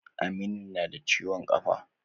Aminu na da ciwon kafa.